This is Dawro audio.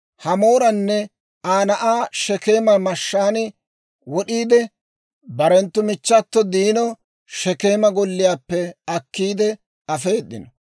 Hamooranne Aa na'aa Shekeema mashshaan wod'iide, barenttu michchato Diino Shekeema golliyaappe akkiidde afeedino.